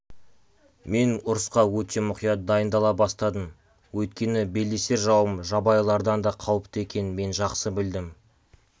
мен ұрысқа өте мұқият дайындала бастадым өйткені белдесер жауым жабайылардан да қауіпті екенін мен жақсы білдім